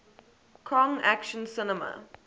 kong action cinema